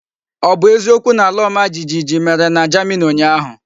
O bu eziokwu na alaomajijiji mere na Germany unyahu?